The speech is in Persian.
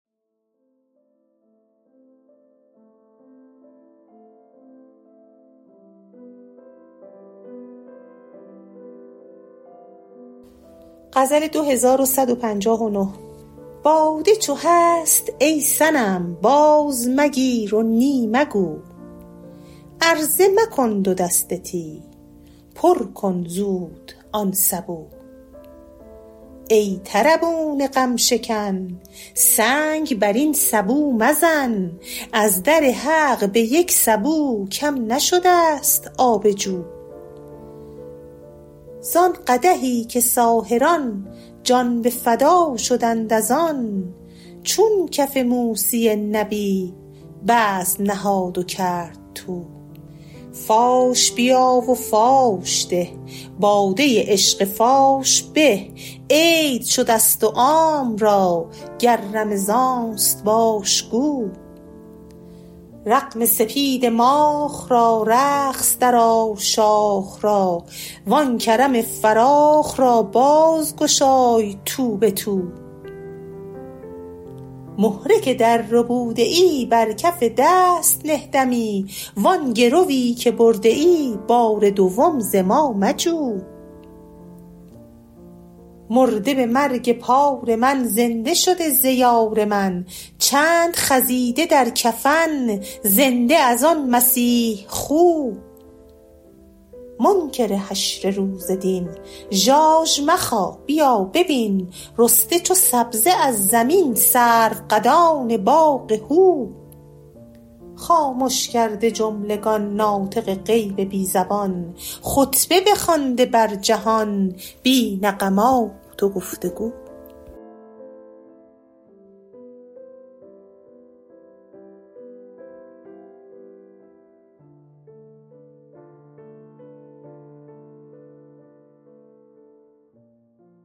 باده چو هست ای صنم بازمگیر و نی مگو عرضه مکن دو دست تی پر کن زود آن سبو ای طربون غم شکن سنگ بر این سبو مزن از در حق به یک سبو کم نشده ست آب جو زان قدحی که ساحران جان به فدا شدند از آن چون کف موسی نبی بزم نهاد و کرد طو فاش بیا و فاش ده باده عشق فاش به عید شده ست و عام را گر رمضان است باش گو رغم سپید ماخ را رقص درآر شاخ را و آن کرم فراخ را بازگشای تو به تو مهره که درربوده ای بر کف دست نه دمی و آن گروی که برده ای بار دوم ز ما مجو مرده به مرگ پار من زنده شده ز یار من چند خزیده در کفن زنده از آن مسیح خو منکر حشر روز دین ژاژ مخا بیا ببین رسته چو سبزه از زمین سروقدان باغ هو خامش کرده جملگان ناطق غیب بی زبان خطبه بخوانده بر جهان بی نغمات و گفت و گو